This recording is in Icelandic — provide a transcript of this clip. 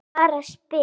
Ég bara spyr?